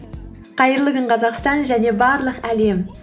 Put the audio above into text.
қайырлы күн қазақстан және барлық әлем